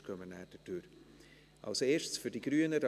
Sonst gehen wir nachher durchs Gesetz hindurch.